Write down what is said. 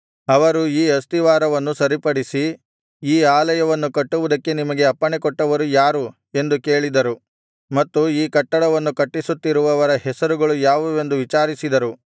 ಅವರು ಈ ಅಸ್ತಿವಾರವನ್ನು ಸರಿಪಡಿಸಿ ಈ ಆಲಯವನ್ನು ಕಟ್ಟುವುದಕ್ಕೆ ನಿಮಗೆ ಅಪ್ಪಣೆಕೊಟ್ಟವರು ಯಾರು ಎಂದು ಕೇಳಿದರು ಮತ್ತು ಈ ಕಟ್ಟಡವನ್ನು ಕಟ್ಟಿಸುತ್ತಿರುವವರ ಹೆಸರುಗಳು ಯಾವುವೆಂದು ವಿಚಾರಿಸಿದರು